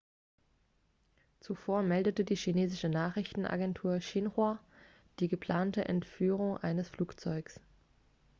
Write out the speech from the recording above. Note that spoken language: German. zuvor meldete die chinesische nachrichtenagentur xinhua die geplante entführung eines flugzeugs